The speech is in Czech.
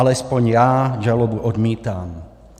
Alespoň já žalobu odmítám.